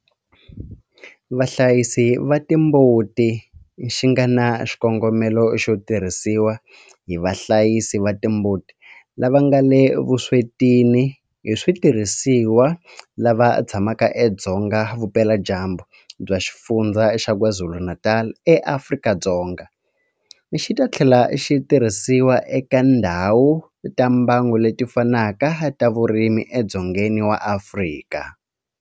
Vahlayisi va timbuti xi nga na xikongomelo xo tirhisiwa hi vahlayisi va timbuti lava nga le vuswetini hi switirhisiwa lava tshamaka edzonga vupeladyambu bya Xifundzha xa KwaZulu-Natal eAfrika-Dzonga, xi ta tlhela xi tirhisiwa eka tindhawu ta mbango leti fanaka ta vurimi edzongeni wa Afrika.